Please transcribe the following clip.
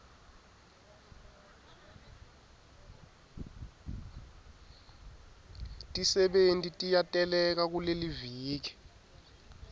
tisebenti tiyateleka kuleliviki